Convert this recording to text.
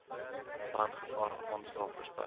brandgevaar aanslae voorspellings